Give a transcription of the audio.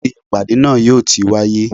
ibo ní ìpàdé náà yóò ti wáyé?